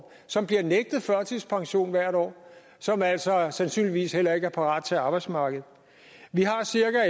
som bliver nægtet førtidspension hvert år og som altså sandsynligvis heller ikke er parate til arbejdsmarkedet vi har